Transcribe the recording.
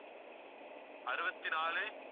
அறுபத்தி நாலு